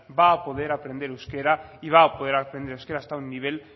va a poder aprender euskera y va a poder aprender euskera hasta un nivel